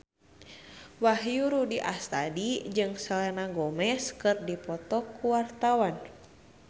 Wahyu Rudi Astadi jeung Selena Gomez keur dipoto ku wartawan